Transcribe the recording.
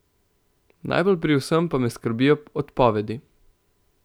Najbolj pri vsem pa me skrbijo odpovedi.